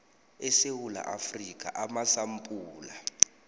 esewula afrika amasampula